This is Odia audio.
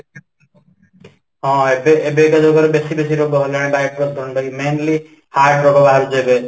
ହଁ , ଏବେ ଏବେ ତ ଯୋଉ ବେଶୀ ବେଶୀ ରୋଗ ବାହାରିଲାଣି ବାୟୂପ୍ରଦୂଷଣ mainly heart ରୋଗ ବାହାରୁଛି ଏବେ